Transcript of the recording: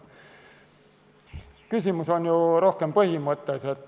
Küsimus on rohkem põhimõttes.